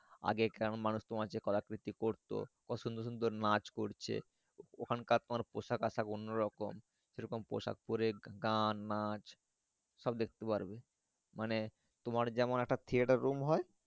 আগে কেমন মানুষ যে রকম কলাকৃতি করতো কত সুন্দর সুন্দর নাচ করছে ওখানকার তোমার পোশাক আশাক অন্য রকম সে রকম পোশাক পরে গান নাচ দেখতে পারবে মানে তোমার যেমন একটা Theatre room হয়।